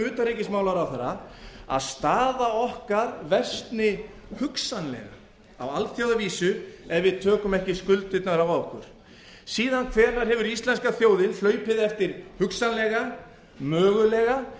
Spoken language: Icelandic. utanríkismálaráðherra að staða okkar versni hugsanlega á alþjóðavísu ef við tökum ekki skuldirnar að okkur síðan hvenær hefur íslenska þjóðin hlaupið eftir hugsanlega mögulega